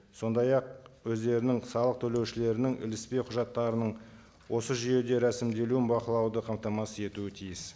сондай ақ өздерінің салық төлеушілерінің іліспе құжаттарының осы жүйеде рәсімделуін бақылауды қамтамасыз етуі тиіс